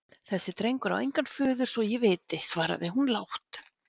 Þessi drengur á engan föður svo ég viti, svaraði hún lágt.